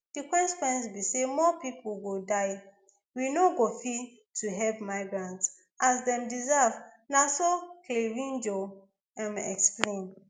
di consequences be say more pipo go die we no go fit to help migrants as dem deserve na so clavijo um explain